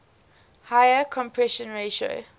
higher compression ratio